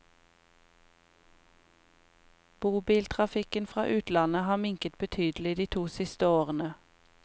Bobiltrafikken fra utlandet har minket betydelig de siste to årene.